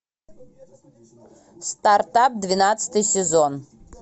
стартап двенадцатый сезон